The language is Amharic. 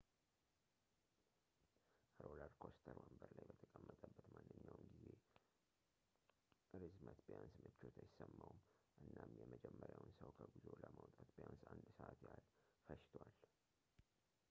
ሮለርኮስተር ወንበር ላይ በተጠመቀበት ማንኛውም የጊዜ ርዝመት ቢያንስ ምቾት አይሰማውም እናም የመጀመሪያውን ሰው ከጉዞው ለማውጣት ቢያንስ አንድ ሰዓት ያህል ፈጅቶዋል